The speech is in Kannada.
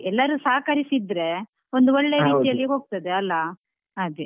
ಎಲ್ಲರು ಸಹಕರಿಸಿದ್ರೆ ಒಂದು ರೀತಿಯಲ್ಲಿ ಹೋಗ್ತದೆ ಅಲ ಹಾಗೆ.